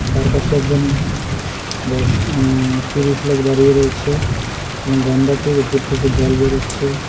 তার পাশে একজন বয়স উম পুরুষ লোক দাঁড়িয়ে রয়েছে এবং গন্ডারটির উপর থেকে জল বেরোচ্ছে।